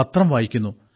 പത്രം വായിക്കുന്നു